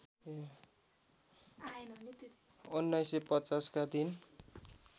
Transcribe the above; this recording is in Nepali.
१९५० का दिन